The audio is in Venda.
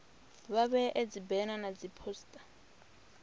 vha vhee dzibena na dziphosita